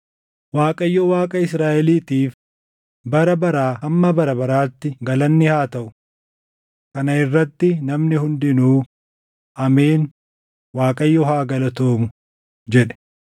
Waaqayyo Waaqa Israaʼeliitiif bara baraa hamma bara baraatti galanni haa gaʼu. Kana irratti namni hundinuu, “Ameen; Waaqayyo haa galatoomu” jedhe.